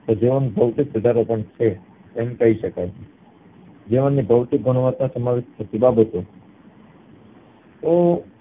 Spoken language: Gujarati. તો જીવનમાં ભૌતિક સુધારો પણ છે તેમ કય શકાય જીવનની ભૌતિક ગુણવતા સમાવેશ થતી બાબતો ઓહં